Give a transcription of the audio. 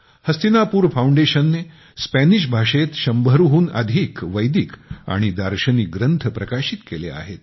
हस्तिनापुर फाउंडेशनने स्पॅनिश भाषेत शंभरहून अधिक वैदिक आणि दार्शनिक ग्रंथ प्रकाशित केलेले आहेत